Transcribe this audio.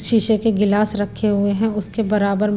शीशे के गिलास रखे हुए हैं उसके बराबर--